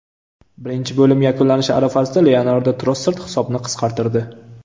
Birinchi bo‘lim yakunlanishi arafasida Leandro Trossard hisobni qisqartirdi.